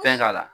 Fɛn k'a la